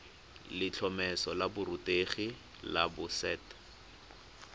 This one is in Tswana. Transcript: letlhomeso la borutegi la boset